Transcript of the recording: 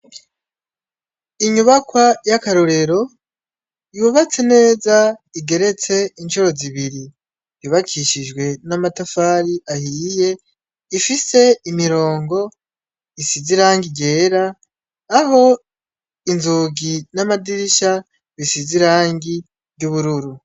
Inyubakwa y’akarorero yubatse neza igeretse incuro zibiri, yubakishijwe n’amatafari ahiye rifise imirongo isize irangi ryera aho inzugi n’amadirisha bisize irangi ry’ubururu.